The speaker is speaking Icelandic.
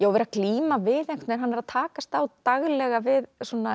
og vera að glíma við hann er að takast á daglega við